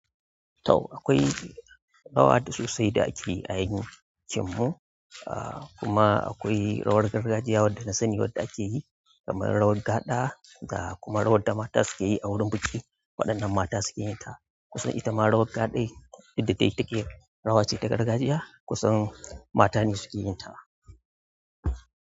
To akwai rawa da sosai da ake a yankin mu, ah kuma akwai rawar gargajiya wadda saniyar da ake yi kamar rawar gaɗa da kuma rawar da mata suke yi a wurin biki. Waɗanda mata suke yin ta. Kusan itama rawar ka dai rawa ce ta gargajiya, kusan mata ne suke yin ta.